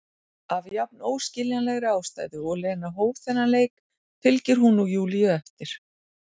Af jafn óskiljanlegri ástæðu og Lena hóf þennan leik fylgir hún nú Júlíu eftir.